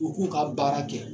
U k'u ka baara kɛ